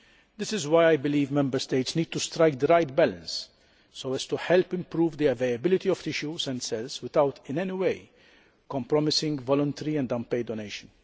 This is why I believe Member States need to strike the right balance so as to help improve the availability of tissues and cells without in any way compromising voluntary and unpaid donation.